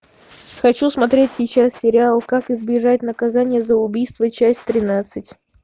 хочу смотреть сейчас сериал как избежать наказание за убийство часть тринадцать